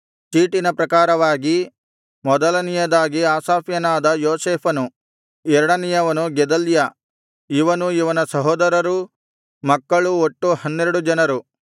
ಚೀಟಿನ ಪ್ರಕಾರವಾಗಿ ಮೊದಲನೆಯದಾಗಿ ಆಸಾಫ್ಯನಾದ ಯೋಸೇಫನು ಎರಡನೆಯವನು ಗೆದಲ್ಯ ಇವನೂ ಇವನ ಸಹೋದರರೂ ಮಕ್ಕಳು ಒಟ್ಟು ಹನ್ನೆರಡು ಜನರು